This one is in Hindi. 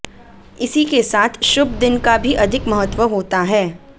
इसी के साथ शुभ दिन का भी अधिक महत्व होता है